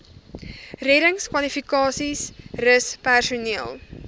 reddingskwalifikasies rus personeel